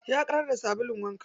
Ya ƙarar da sabulun wanka.